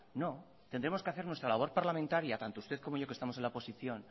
no tendremos que hacer nuestra labor parlamentaria tanto usted como yo que estamos en la oposición